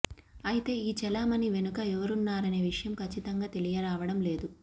అయితే ఈ చలామణి వెనక ఎవరున్నారనే విషయం కచ్ఛితంగా తెలియరావడం లేదు